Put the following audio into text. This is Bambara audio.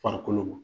Farikolo ma